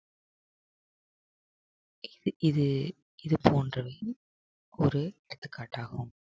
இது இது போன்றது ஒரு எடுத்துக்காட்டாகும்